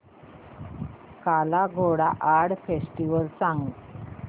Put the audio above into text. काला Ghoda art festival सांग